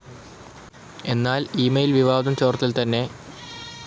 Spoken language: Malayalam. എന്നാൽ ഇമെയിൽ ചോർത്തൽ വിവാദം തന്നെ മാധ്യമത്തിൻ്റെ കള്ളപ്രചരണമായിരുന്നുവെന്ന് മന്ത്രി പി.